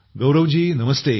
गौरव ji नमस्ते